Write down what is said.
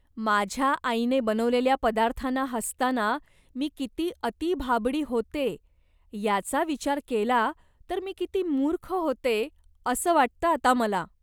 माझ्या आईने बनवलेल्या पदार्थांना हसताना मी किती अतिभाबडी होते याचा विचार केला तर मी किती मूर्ख होते असं वाटतं आता मला.